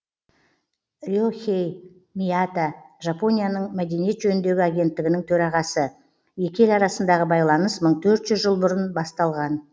ре хэй мията жапонияның мәдениет жөніндегі агенттігінің төрағасы екі ел арасындағы байланыс мың төрт жүз жыл бұрын басталған